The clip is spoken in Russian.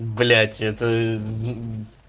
блять это